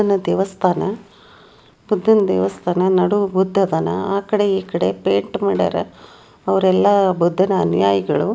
ಇದು ದೇವಸ್ಥಾನ ಬುದ್ಧನ ದೇವಸ್ಥಾನ. ನಡುವ ಬುದ್ದ ಅದಾನ ಆ ಕಡೆ ಈ ಕಡೆ ಪೈಂಟ್ ಮಾಡ್ಯಾರ ಅವರೆಲ್ಲ ಬುದ್ಧನ ಅನುಯಾಯಿಗಳು.